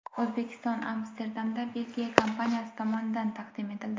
O‘zbekiston Amsterdamda Belgiya kompaniyasi tomonidan taqdim etildi.